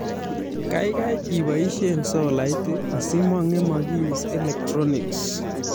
Kaikai iboisie solait asi mang'emakis electronics